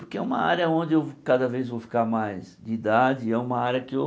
Porque é uma área onde eu cada vez vou ficar mais de idade e é uma área que eu